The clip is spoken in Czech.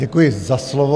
Děkuji za slovo.